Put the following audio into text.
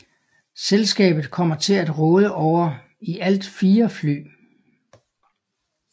Selskabet kommer til at råde over i alt fire fly